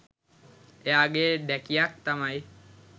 එයා ගේ ඬැකියක් තමයි